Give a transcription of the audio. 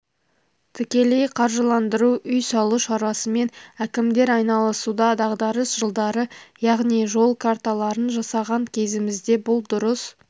тікелей қаржыландыру үй салу шаруасымен әкімдер айналысуда дағдарыс жылдары яғни жол карталарын жасаған кезімізде бұл дұрыс